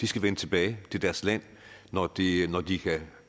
skal vende tilbage til deres land når de når de kan